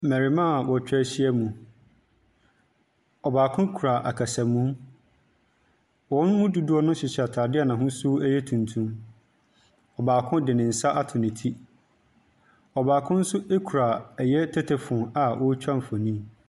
Mmarimaa a wɔtwa a wɔtwa ahiam. Ɔbaako kura akɛsamu. Wɔn mu dodoɔ no hyehyɛ ataadeɛ a n'ahosu yɛ tuntum. Baako de ne nsa ato ne ti, baako nso kura tetefon a ɔretwa mfoni.